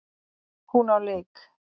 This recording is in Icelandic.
Hún á leik.